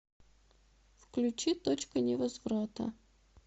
включи точка невозврата